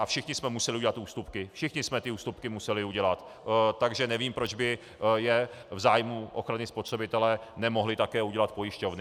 A všichni jsme museli udělat ústupky, všichni jsme ty ústupky museli udělat, takže nevím, proč by je v zájmu ochrany spotřebitele nemohly také udělat pojišťovny.